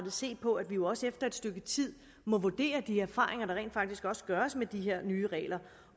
se på at vi jo også efter et stykke tid må vurdere de erfaringer der rent faktisk gøres med de her nye regler